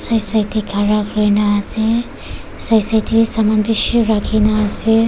Side side dae khara kurina ase side side dae bi saman bishi rakina ase.